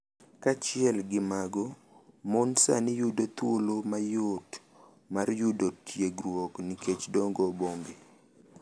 Kaachiel gi mago, mon sani yudo thuolo mayot mar yudo tiegruok nikech dongo bombe,